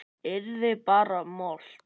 Yrði bara mold.